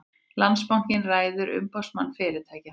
Landsbankinn ræður Umboðsmann fyrirtækja